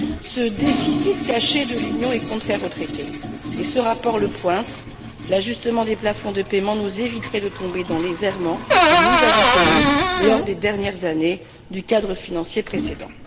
Ce déficit caché de l'Union est contraire au traité et ce rapport le pointe l'ajustement des plafonds de paiement nous éviterait de tomber dans les errements que nous avons connus lors des dernières années du cadre financier précédent.